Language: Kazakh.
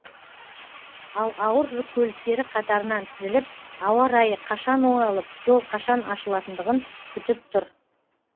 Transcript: ал ауыр жүк көліктері қатарынан тізіліп ауа райы қашан оңалып жол қашан ашылатындығын күтіп тұр